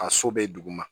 A so be duguma